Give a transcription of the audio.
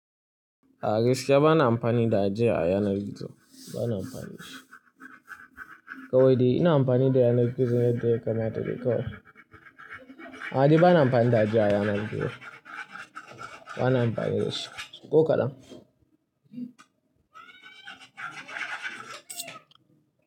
A gaskiya bana amfani da ajia a yanar gizo, bana amfani da shi. Kawai dai ina amfani da yanar gizo yadda yakamata dai kawai. A'a dai bana amfani da ajia a yanar gizo, bana amfani da shi, ko kadan.